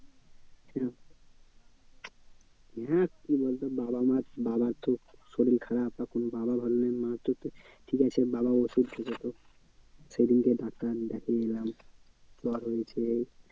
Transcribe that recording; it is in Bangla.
হ্যাঁ কি বলতো বাবা মা বাবার তো শরির খারাপ বাবা ভালো নেই মা তো ঠিক আছে বাবা ওষুধ খেত তো সেদিনকে ডাক্তার দেখিয়ে জ্বর হয়েছে।